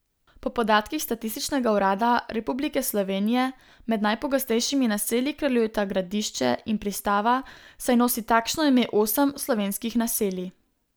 Po podatkih Statističnega urada Republike Slovenije med najpogostejšimi naselji kraljujeta Gradišče in Pristava, saj nosi takšno ime osem slovenskih naselij.